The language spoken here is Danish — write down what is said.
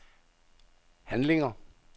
handlinger